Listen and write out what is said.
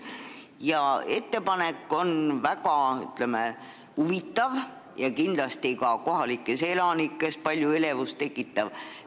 See ettepanek on, ütleme, väga huvitav ja kindlasti kohalikes elanikes palju elevust tekitav.